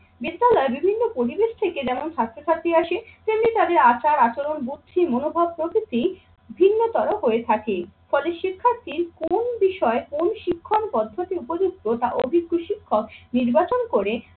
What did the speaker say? বিদ্যালয়ে বিভিন্ন পরিবেশ থেকে যেমন ছাত্র ছাত্রী আসে তেমনি তাদের আচার, আচরণ, বুদ্ধি, মনোভাব, প্রকৃতি ভিন্নতর হয়ে থাকে। ফলে শিক্ষার্থীর কোন বিষয়ে কোন শিক্ষক পদ্ধতি উপযুক্ত তা অভিজ্ঞ শিক্ষক নির্বাচন করে